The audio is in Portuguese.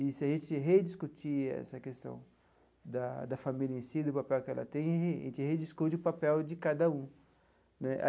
E se a gente rediscutir essa questão da da família em si, do papel que ela tem, a gente rediscute o papel de cada um né.